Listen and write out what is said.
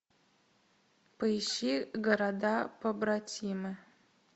поищи города побратимы